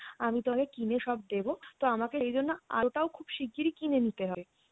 আমি তোমাকে কিনে সব দেবো তো আমাকে এইজন্য আলোটাও খুব শিগগিরি কিনে নিতে হবে।